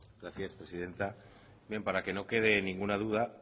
gracias presidenta bien para que no quede ninguna duda